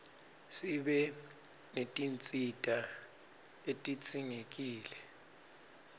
sibe netinsita letidzingekile